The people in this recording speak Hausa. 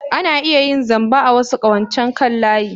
Ana iya yin zamba a wasu ƙawancen kan layi.